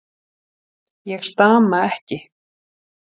Ég stama ekki.